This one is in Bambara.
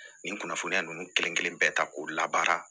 Nin kunnafoniya ninnu kelen kelen bɛɛ ta k'o labaara